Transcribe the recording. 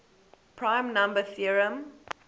prime number theorem